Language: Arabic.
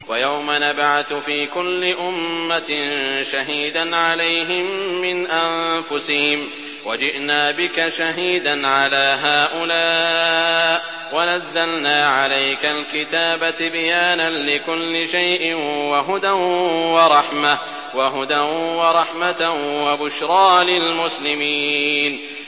وَيَوْمَ نَبْعَثُ فِي كُلِّ أُمَّةٍ شَهِيدًا عَلَيْهِم مِّنْ أَنفُسِهِمْ ۖ وَجِئْنَا بِكَ شَهِيدًا عَلَىٰ هَٰؤُلَاءِ ۚ وَنَزَّلْنَا عَلَيْكَ الْكِتَابَ تِبْيَانًا لِّكُلِّ شَيْءٍ وَهُدًى وَرَحْمَةً وَبُشْرَىٰ لِلْمُسْلِمِينَ